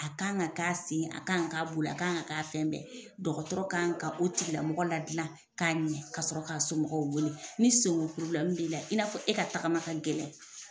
A kan ka sen a kan ka k'a bolo, a kan ka k'a fɛn bɛɛ ye, dɔgɔtɔrɔ ka kan ka o tigila mɔgɔ la dilan k'a ɲɛn ka sɔrɔ k'a somɔgɔw weele ni senko probilɛmu b'i la , i n'a fɔ e ka tagama ka gɛlɛ.